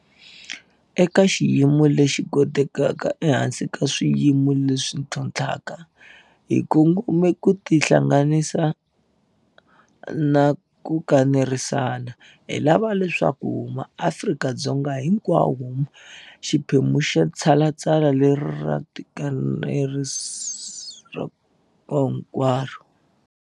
Eka xiyimo lexi kotekaka ehansi ka swiyimo leswi ntlhontlhaka, hi kongome ku tihlanganisa na ku kanerisana. Hi lava leswaku MaAfrika-Dzonga hinkwawo ma va xiphemu xa tshalatshala leri ra tiko hinkwaro.